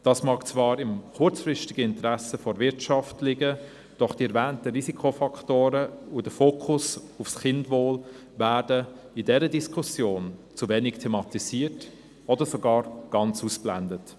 Dies mag zwar im kurzfristigen Interesse der Wirtschaft liegen, doch die erwähnten Risikofaktoren und der Fokus auf das Kindeswohl werden in dieser Diskussion zu wenig thematisiert oder sogar ganz ausgeblendet.